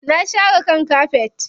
Na share kan kafet.